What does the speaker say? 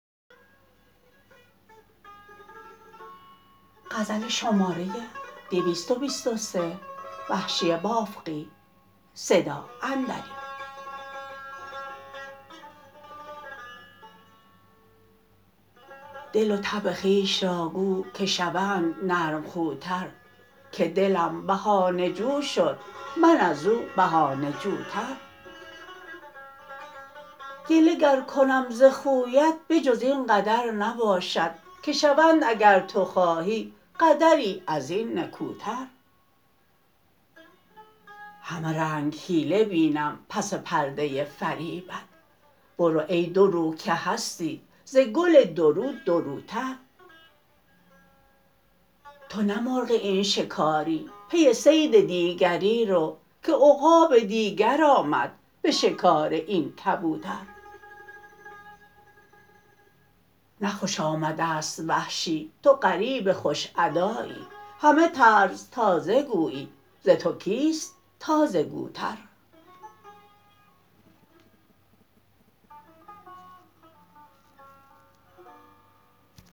دل و طبع خویش را گو که شوند نرم خوتر که دلم بهانه جو شد من ازو بهانه جوتر گله گر کنم ز خویت به جز اینقدر نباشد که شوند اگر تو خواهی قدری ازین نکوتر همه رنگ حیله بینم پس پرده فریبت برو ای دو رو که هستی ز گل دورو دوروتر تو نه مرغ این شکاری پی صید دیگری رو که عقاب دیگر آمد به شکار این کبوتر نه خوش آمده است وحشی تو غریب خوش ادایی همه طرز تازه گویی ز تو کیست تازه گوتر